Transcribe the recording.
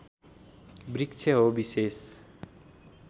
वृक्ष हो विशेष